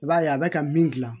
I b'a ye a bɛ ka min gilan